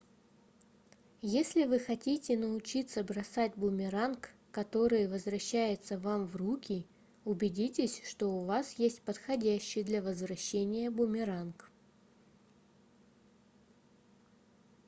если вы хотите научиться бросать бумеранг который возвращается вам в руки убедитесь что у вас есть подходящий для возвращения бумеранг